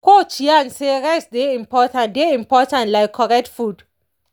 coach yarn say rest dey important dey important like correct food.